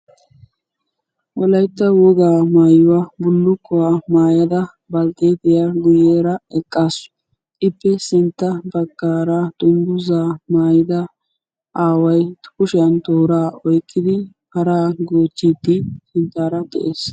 Wolaytta wogaa mayuwa bullukkuwa mayada baltteetiya guyyeera eqqaasu. Ippe sintta baggaara dungguzzaa maayida aaway kushiyan tooraa oyiqqidi para goochchiiddi sinttaara de'ees.